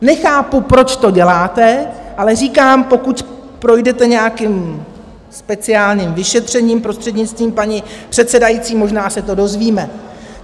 Nechápu, proč to děláte, ale říkám, pokud projdete nějakým speciálním vyšetřením, prostřednictvím paní předsedající, možná se to dozvíme.